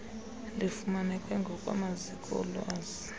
lufumaneke ngokwamaziko olwazi